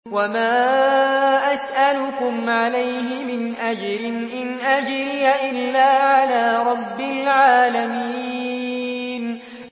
وَمَا أَسْأَلُكُمْ عَلَيْهِ مِنْ أَجْرٍ ۖ إِنْ أَجْرِيَ إِلَّا عَلَىٰ رَبِّ الْعَالَمِينَ